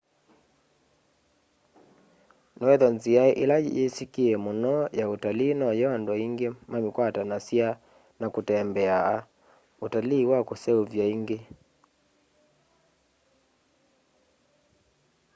noethwa nzîa îla yîsîkîe mûno ya ûtalii noyo andû aingî mamîkwatanasya na kûtembea: ûtalii wa kûseûvya îngî